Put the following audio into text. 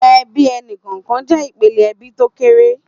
Èbí ẹni kọọkàn jè ipélé èbí tó kéré